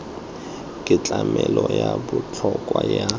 ke tlamelo ya botlhokwa ya